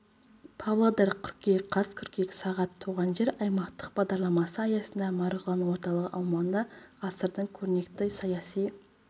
павлодар қыркүйек қаз қыркүйек сағат туған жер аймақтық бағдарламасы аясында марғұлан орталығы аумағында ғасырдың көрнекті саяси